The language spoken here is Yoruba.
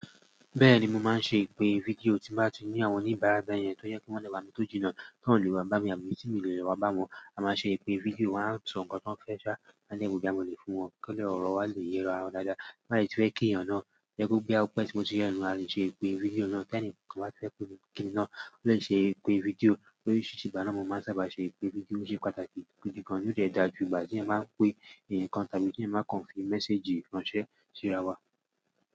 Bẹ́ẹ̀ni, mo máa ń ṣe ìpè fídíò tí ń bá ti ní àwọn oníbáràbà yẹn tó yẹ kí wọ́n lọ bá mi tó jìnnà tó ń lù wá bá mi àbí tí mo lè lọ bá wọ́n, a máa ṣe ìpè fídíò wa, a máa sọ nǹkan tó fẹ́ ṣá, má le maa boya mo lè fún wọn kí wọ́n lè rọ wá lè yera ara wa dáadáa. Ti fẹ́ kí ènìyàn náà boya o gbé ọ́pẹ́ tí mo ti ri eyàn náà, a lè ṣe ìpè fídíò náà tí ẹni kan bá fẹ́ kíni náà ó lè ṣe ìpè fídíò, ló sì ṣe ìgbà náà mo máa sábà ṣe ìpè fídíò, ó ṣe pàtàkì ipé gan lo dẹ̀ dà jù, ìgbà tí ẹ máa ń pè, ǹkan tàbí tí ẹ máa kọ̀nfi mésèjì ránṣẹ́ sí ara wa.